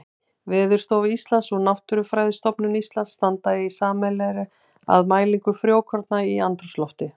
Veðurstofa Íslands og Náttúrufræðistofnun Íslands standa í sameiningu að mælingu frjókorna í andrúmslofti.